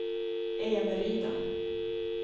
Eneryda